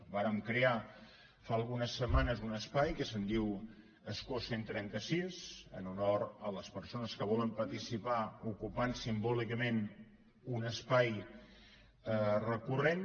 vàrem crear fa algunes setmanes un espai que se’n diu escó cent i trenta sis en honor a les persones que volen participar ocupant simbòlicament un espai recurrent